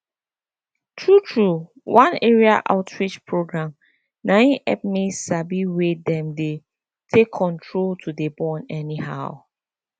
true true one area outreach program na im hep me sabi way dem dey take control to dey born anyhow